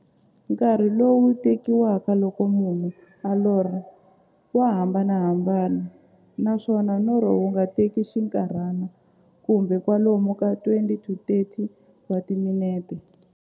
Nkarhi lowu tekiwaka loko munhu a lorha, wa hambanahambana, naswona norho wu nga teka xinkarhana, kumbe kwalomu ka 20-30 wa timinete.